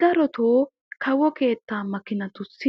Darotoo kawo keettaa makiinatussi